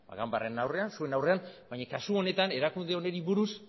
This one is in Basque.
ganbararen aurrean zuen aurrean baina kasu honetan erakunde honen inguruz